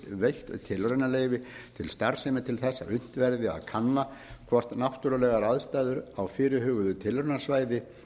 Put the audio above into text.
veitt tilraunaleyfi til starfsemi til þess að unnt verði að kanna hvort náttúrulegar aðstæður á fyrirhuguðu tilraunasvæði